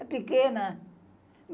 É pequena.